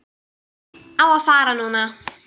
Á að fara núna.